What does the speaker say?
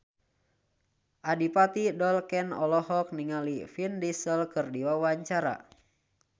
Adipati Dolken olohok ningali Vin Diesel keur diwawancara